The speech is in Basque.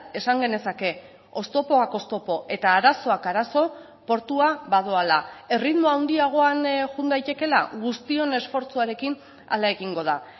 esan genezake oztopoak oztopo eta arazoak arazo portua badoala erritmo handiagoan joan daitekeela guztion esfortzuarekin hala egingo da